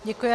Děkuju.